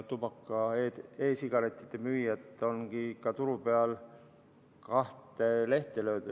Tubaka-, e-sigarettide müüjad ongi turul kahte lehte löönud.